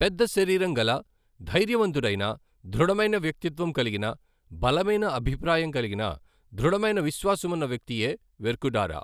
పెద్ద శరీరంగల, ధైర్యవంతుడైన, దృఢమైన వ్యక్తిత్వం కలిగిన, బలమైన అభిప్రాయం కలిగిన, దృఢమైన విశ్వాసమున్న వ్యక్తియే వెర్కుడారా.